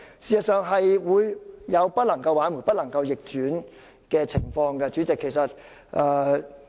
事實上，這是會引致無法挽回、不能逆轉的情況的。